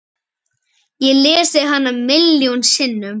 Ég lesið hana milljón sinnum.